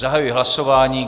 Zahajuji hlasování.